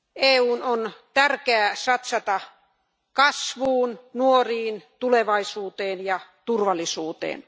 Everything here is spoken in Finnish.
EUn on tärkeää satsata kasvuun, nuoriin, tulevaisuuteen ja turvallisuuteen.